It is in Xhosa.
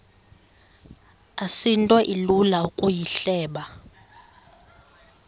asinto ilula ukuyihleba